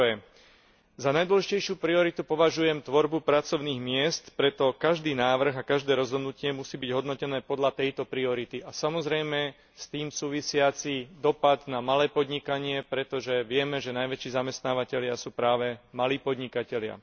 Po prvé, za najdôležitejšiu prioritu považujem tvorbu pracovných miest, preto každý návrh a každé rozhodnutie musí byť hodnotené podľa tejto priority a samozrejme s tým súvisiaci dosah na malé podnikanie, pretože vieme, že najväčší zamestnávatelia sú práve malí podnikatelia.